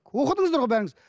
оқыдыңыздар ғой бәріңіз